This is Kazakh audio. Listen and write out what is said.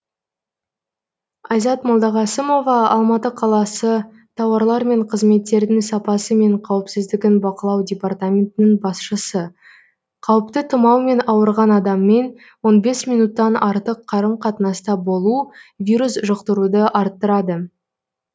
айзат молдағасымова алматы қаласы тауарлар мен қызметтердің сапасы мен қауіпсіздігін бақылау департаментінің басшысы қауіпті тұмаумен ауырған адаммен он бес минуттық артық қарым қатынаста болу вирус жұқтыруды арттырады